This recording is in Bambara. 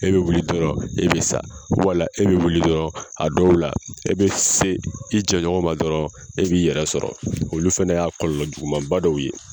E bɛ wuli dɔrɔn e bɛ sa wala e bɛ wuli dɔrɔn a dɔw la e bɛ se i jɛn ɲɔgɔn ma dɔrɔn e b'i yɛrɛ sɔrɔ olu fɛnɛ y'a kɔlɔlɔ juguman ba dɔw ye.